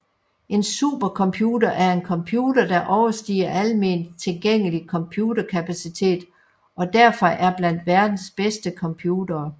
En supercomputer er en computer der overstiger alment tilgængelig computerkapacitet og derfor er blandt verdens bedste computere